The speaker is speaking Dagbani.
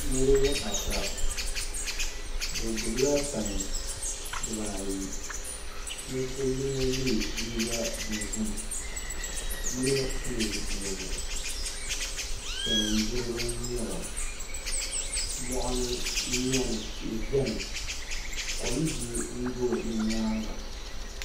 Niraba ata bi gbubila pai dibaayi ninvuɣu yino yɛ liiga dozim yino pili zipiligu salin gbiribi n nyɛba moɣani n nyɛli tihi biɛni kom biɛ n do bi nyaanga